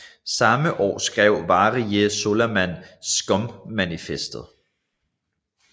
Samme år skrev Valerie Solanas SCUM manifestet